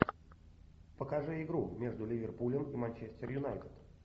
покажи игру между ливерпулем и манчестер юнайтед